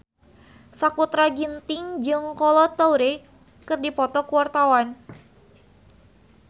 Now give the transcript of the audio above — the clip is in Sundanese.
Sakutra Ginting jeung Kolo Taure keur dipoto ku wartawan